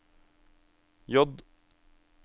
J